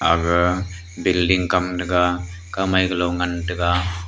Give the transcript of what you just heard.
aga building kam tega kamai galong ngan tega.